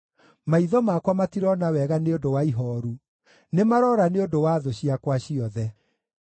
Maitho makwa matirona wega nĩ ũndũ wa ihooru; nĩmaroora nĩ ũndũ wa thũ ciakwa ciothe.